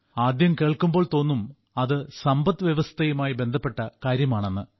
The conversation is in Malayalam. ആദ്യം കേൾക്കുമ്പോൾ തോന്നും അത് സമ്പദ്വ്യവസ്ഥയുമായി ബന്ധപ്പെട്ട കാര്യമാണെന്ന്